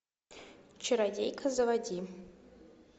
чародейка заводи